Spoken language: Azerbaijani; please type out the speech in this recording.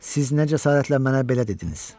Siz nə cəsarətlə mənə belə dediniz?